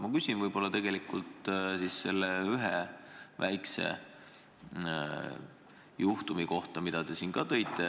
Ma küsin aga ühe väikese juhtumi kohta, mida te ka märkisite.